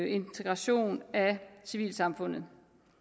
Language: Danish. integration af civilsamfundet